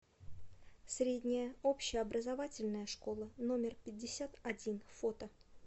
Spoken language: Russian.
средняя общеобразовательная школа номер пятьдесят один фото